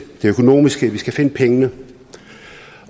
det økonomiske vi skal finde pengene